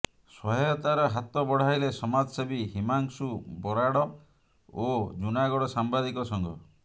ସହାୟତାର ହାତ ବଢାଇଲେ ସମାଜସେବୀ ହିମାଂଶୁ ବରାଡ ଓ ଜୁନାଗଡ ସାମ୍ବାଦିକ ସଂଘ